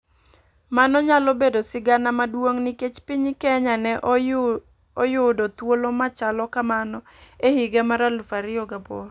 Mano nyalo bedo sigana maduong' nikech piny kenya ne oyuido thuolo machalo kamano e higa mar 2008.